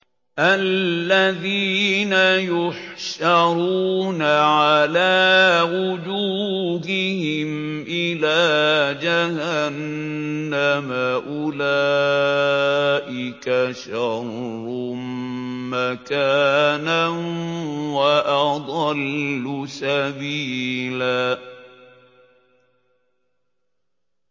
الَّذِينَ يُحْشَرُونَ عَلَىٰ وُجُوهِهِمْ إِلَىٰ جَهَنَّمَ أُولَٰئِكَ شَرٌّ مَّكَانًا وَأَضَلُّ سَبِيلًا